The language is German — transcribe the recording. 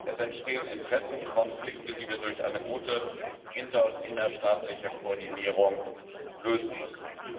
Es entstehen Interessenkonflikte, die wir durch eine gute inter und innerstaatliche Koordinierung lösen müssen.